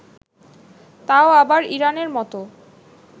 তাও আবার ইরানের মতো